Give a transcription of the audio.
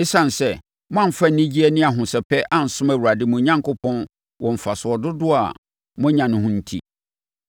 Esiane sɛ moamfa anigyeɛ ne ahosɛpɛ ansom Awurade mo Onyankopɔn wɔ mfasoɔ dodoɔ a moanya no ho enti,